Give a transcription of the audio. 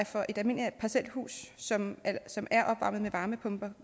for et almindeligt parcelhus som som er opvarmet med varmepumper